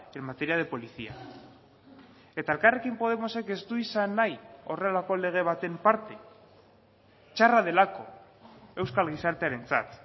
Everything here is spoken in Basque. en materia de policía eta elkarrekin podemosek ez du izan nahi horrelako lege baten parte txarra delako euskal gizartearentzat